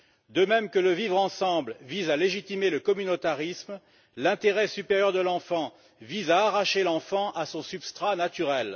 De même que le vivre ensemble vise à légitimer le communautarisme, l'intérêt supérieur de l'enfant vise à arracher l'enfant à son substrat naturel.